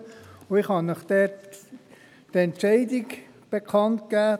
Ich kann Ihnen die Entscheidung dazu bekannt geben: